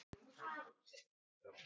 Einar Má.